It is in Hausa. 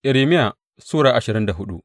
Irmiya Sura ashirin da hudu